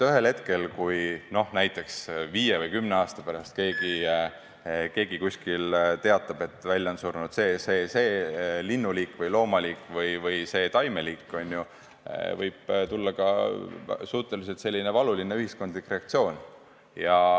Ühel hetkel näiteks viie või kümne aasta pärast, kui keegi teatab, et välja on surnud see, see ja see linnuliik või loomaliik või taimeliik, võib tulla ka suhteliselt valuline ühiskondlik reaktsioon.